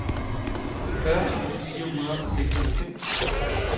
fyrre tusind fire hundrede og seksoghalvfems